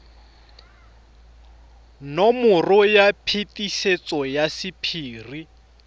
nomoro ya phetiso ya sephiri